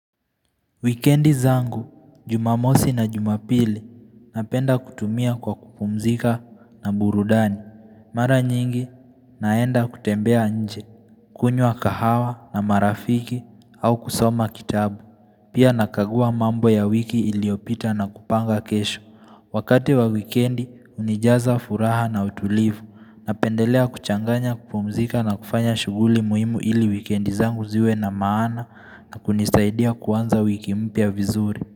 Wikendi zangu, jumamosi na jumapili, napenda kutumia kwa kupumzika na burudani. Mara nyingi, naenda kutembea nje, kunywa kahawa na marafiki au kusoma kitabu. Pia nakagua mambo ya wiki iliyopita na kupanga kesho. Wakati wa wikendi, unijaza furaha na utulivu. Napendelea kuchanganya kupumzika na kufanya shughuli muhimu ili wikendi zangu ziwe na maana na kunisaidia kuanza wiki mpya vizuri.